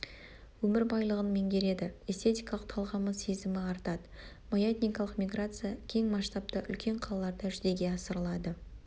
өмір байлығын меңгереді эстетикалық талғамы сезімі артады маятникалық миграция кең масштабта үлкен қалаларда жүзеге асырылады